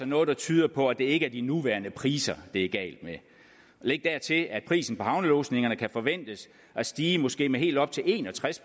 noget der tyder på at det ikke er de nuværende priser det er galt med læg dertil at prisen på havnelodsningerne kan forventes at stige med måske helt op til en og tres